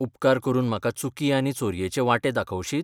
उपकार करून म्हाका चुकी आनी चोरयेचे वांटे दाखवशीत?